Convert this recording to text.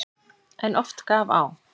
En oft gaf á.